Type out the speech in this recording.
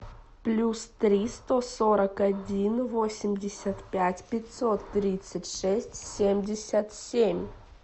плюс три сто сорок один восемьдесят пять пятьсот тридцать шесть семьдесят семь